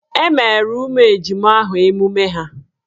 E meere ụmụ ejima ahụ emume ha?